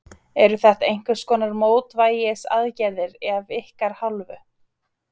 Eru þetta einhverskonar mótvægisaðgerðir af ykkar hálfu?